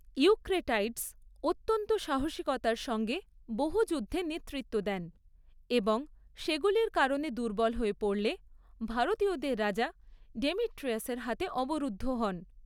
Eucratides অত্যন্ত সাহসিকতার সঙ্গে বহু যুদ্ধে নেতৃত্ব দেন এবং সেগুলির কারণে দুর্বল হয়ে পড়লে, ভারতীয়দের রাজা ডেমিট্রিয়াসের হাতে অবরুদ্ধ হন।